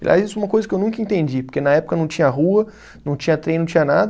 Aliás, isso é uma coisa que eu nunca entendi, porque na época não tinha rua, não tinha trem, não tinha nada.